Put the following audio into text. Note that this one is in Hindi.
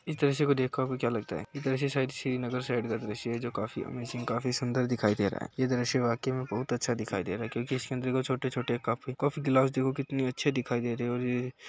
इस दृश्य को देखकर आपको क्या लगता है ये दृश्य शायद श्रीनगर साइड का दृश्य है जो काफी अमेजिंग काफी सुंदर दिखाई दे रहा है। ये दृश्य वाकई में बहोत अच्छा दिखाई दे रहा है क्योंकि इसके अंदर छोटे-छोटे कप कॉफी ग्लास देखो कितने अच्छे दिखाई दे रहे हैं और ये --